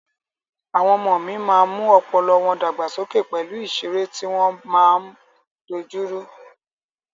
Àwọn ọmọ mí máa mú ọpọlọ wọ́n dàgbàsókè pẹ̀lú ìsẹré tí wọ́n máa ń dojúrú.